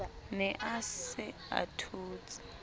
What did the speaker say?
ne a se a thotse